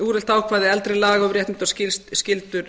úrelt ákvæði eldri laga um réttindi og skyldur